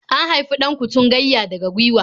An haifi 'Dan-kutungayya daga gwiwa.